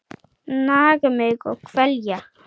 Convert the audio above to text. Naga mig og kvelja.